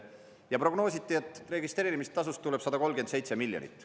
Ja prognoositi, et registreerimistasust tuleb 137 miljonit.